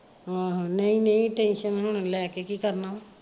ਹਾਂ ਹਾਂ ਨਹੀਂ ਨਹੀਂ tension ਹੁਣ ਲੈ ਕੇ ਕੀ ਕਰਨਾ ਵਾ।